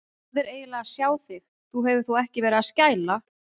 Hvað er eiginlega að sjá þig. þú hefur þó ekki verið að skæla!